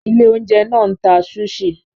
Ilé-oúnjẹ náà ń ta sushi.